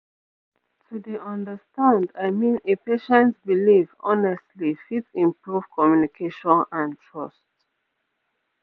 to dey understand i mean a patient belief honestly fit improve communication and trust